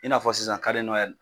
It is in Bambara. I n'a fɔ sisan